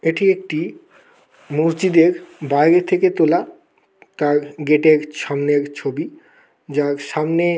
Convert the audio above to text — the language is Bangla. এটি একটি মসজিদের বাইরে থেকে তোলা তার গেট -এর সামনের ছবি। যার সামনে।